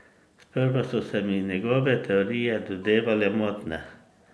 Sprva so se mi njegove teorije dozdevale motne.